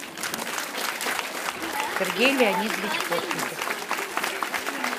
сергей леонидович постников